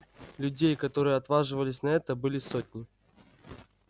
людей которые отваживались на это были сотни